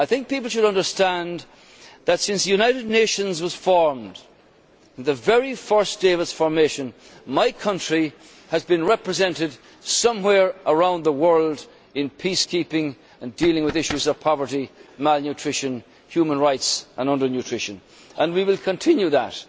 I think people should understand that, since the United Nations was formed, since the very first day of its formation, my country has been represented somewhere around the world in peacekeeping and dealing with issues of poverty, malnutrition, human rights and under nutrition, and we will continue that.